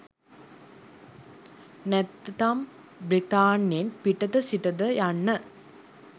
නැත්නම් බ්‍රිතාන්‍යයෙන් පිටත සිටද යන්න